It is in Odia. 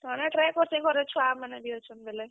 କାଣା try କର୍ ସିଁ ଘରେ ଛୁଆମାନେ ବି ଅଛନ୍ ବେଲେ।